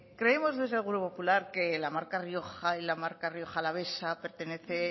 creemos desde el grupo popular que la marca rioja y la marca rioja alavesa pertenece